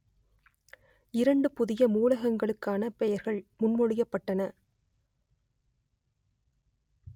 இரண்டு புதிய மூலகங்களுக்கான பெயர்கள் முன்மொழியப்பட்டன